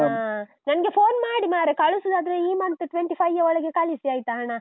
ಅಹ್ ನನ್ಗೆ phone ಮಾಡಿ ಮಾರ್ರೆ. ಕಳಿಸುದಾದ್ರೆ ಈ month twenty-five ಯ ಒಳಗೆ ಕಳಿಸಿ ಆಯ್ತಾ, ಹಣ?